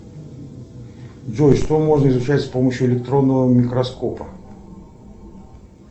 джой что можно изучать с помощью электронного микроскопа